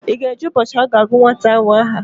Ị ga-eje ụbọchị a ga-agụ nwata ahụ aha?